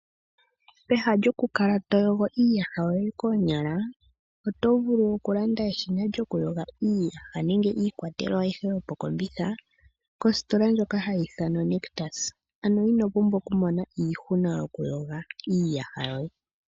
Peha lyoku kala to yogo iiyaha yoye koonyala oto vulu oku landa eshina lyoku yoga iiyaha nenge lyoku opaleka iikwatelwa ayihe yokokombitha kositola ndjoka hayi ithanwa Nictus. Ano ino pumbwa oku mona iihuna yoku yoga iiyaha yoye.